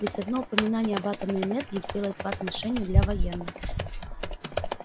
ведь одно упоминание об атомной энергии сделает вас мишенью для военных